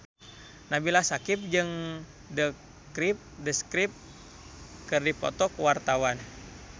Nabila Syakieb jeung The Script keur dipoto ku wartawan